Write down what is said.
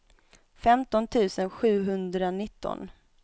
femton tusen sjuhundranitton